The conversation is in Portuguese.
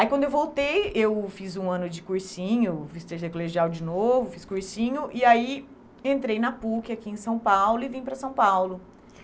Aí quando eu voltei, eu fiz um ano de cursinho, fiz terceiro colegial de novo, fiz cursinho, e aí entrei na PUC aqui em São Paulo e vim para São Paulo.